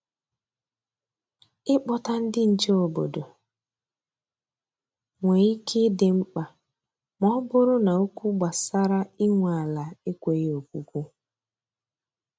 I Kpọta ndị nche obodo nwe ike ịdị mkpa ma ọ bụrụ na okwu gbasara inwe ala ekweghị okwukwu.